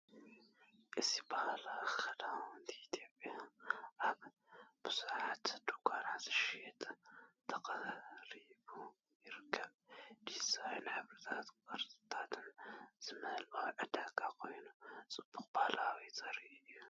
እዚ ባህላዊ ክዳውንቲ ኢትዮጵያ ኣብ ብዙሓት ድኳናት ክሽየጥ ተቐሪቡ ይርከብ። ዲዛይን፣ ሕብርታትን ቅርጽታትን ዝመልአ ዕዳጋ ኮይኑ፡ ጽባቐ ባህልና ዘርኢ እዩ።